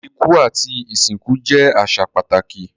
Iku ati isinku jẹ aṣa pataki